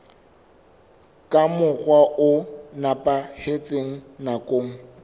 ka mokgwa o nepahetseng nakong